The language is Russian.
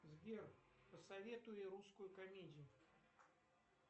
сбер посоветуй русскую комедию